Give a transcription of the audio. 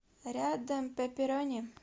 рядом пеперони